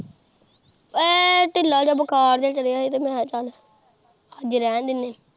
ਹੈਅ ਢਿੱਲਾ ਜਿਹਾ ਬੁਖਾਰ ਜਿਹਾ ਚੜਿਆ ਹੀ ਮੈਂ ਕਿਹਾ ਚੱਲ ਅੱਜ ਰਹਿਣ ਦਿੰਨੇ।